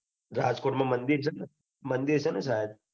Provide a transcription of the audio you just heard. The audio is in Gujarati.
રાજકોટ મંદિર છે ને મંદિર છે ને સાહેબ